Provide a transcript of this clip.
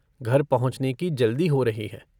घर पहुँचने की जल्दी हो रही है।